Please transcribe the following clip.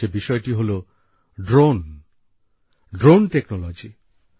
সে বিষয়টি হলো drone drone technology